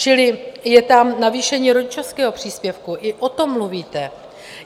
Čili je tam navýšení rodičovského příspěvku, i o tom mluvíte.